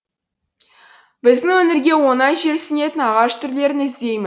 біздің өңірге оңай жерсінетін ағаш түрлерін іздеймін